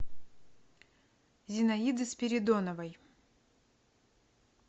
зинаиды спиридоновой